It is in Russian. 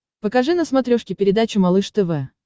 покажи на смотрешке передачу малыш тв